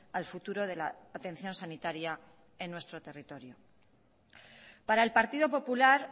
al futuro de la atención sanitaria en nuestro territorio para el partido popular